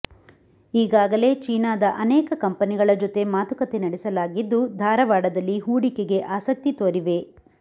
ಈಗಾಗಲೇ ಚೀನಾದ ಅನೇಕ ಕಂಪೆನಿಗಳ ಜೊತೆ ಮಾತುಕತೆ ನಡೆಸಲಾಗಿದ್ದು ಧಾರವಾಡದಲ್ಲಿ ಹೂಡಿಕೆಗೆ ಆಸಕ್ತಿ ತೋರಿವೆ